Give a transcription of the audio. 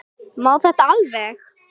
Má þetta alveg?